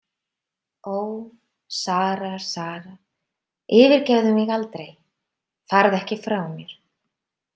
Ó, Sara, Sara, yfirgefðu mig aldrei, farðu ekki frá mér.